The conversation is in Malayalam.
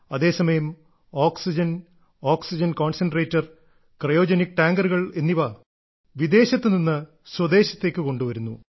അതേസമയം ഓക്സിജൻ ഓക്സിജൻ കോൺസെൻട്രേറ്റർ ക്രയോജനിക് ടാങ്കറുകൾ എന്നിവ വിദേശത്ത് നിന്ന് സ്വദേശത്തേക്ക് കൊണ്ടുവരുന്നു